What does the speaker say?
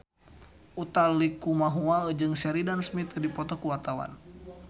Utha Likumahua jeung Sheridan Smith keur dipoto ku wartawan